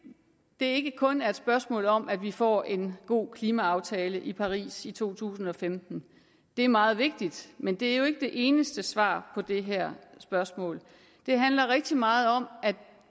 ikke kun er et spørgsmål om at vi får en god klimaaftale i paris i to tusind og femten det er meget vigtigt men det er jo ikke det eneste svar på det her spørgsmål det handler rigtig meget om at